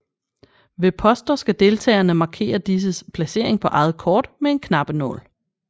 Ved poster skal deltagerne markere disses placering på eget kort med en knappenål